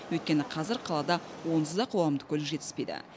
өйткені қазір қалада онсыз да қоғамдық көлік жетіспейді